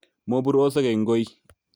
Moburosek eng koi